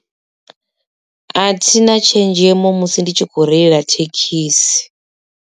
A thina tshenzhemo musi ndi tshi kho reila thekhisi.